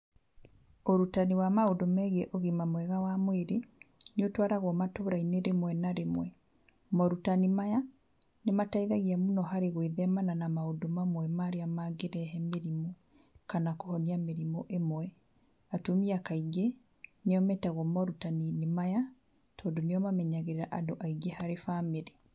Ũrutani wa maũndũ megiĩ ũgima mwega wa mwĩrĩ, nĩ ũtwaragwo matũra-inĩ rĩmwe na rĩmwe. Morutani maya nĩ mateithagia mũno harĩ gwĩthema na maũndũ mamwe marĩa mangĩrehe mĩrimũ kana kũhonia mĩrimũ ĩmwe. Atumia kaingĩ nĩo metagwo morutaninĩ maya tondũ nĩo mamenyagĩrĩra andũ aingĩ harĩ bamĩrĩ.